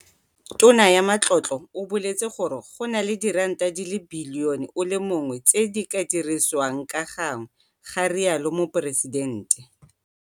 Tona ya Matlotlo o boletse gore [, go na le diranta di le bilione o le mongwe tse di ka dirisiwang ka gangwe, ga rialo Moporesidente.